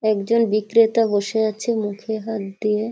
একজন বিক্রেতা বসে আছে মুখে হাত দিয়ে